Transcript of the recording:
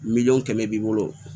Miliyɔn kɛmɛ b'i bolo